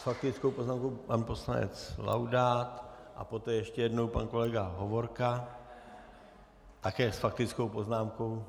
S faktickou poznámkou pan poslanec Laudát a poté ještě jednou pan kolega Hovorka také s faktickou poznámkou.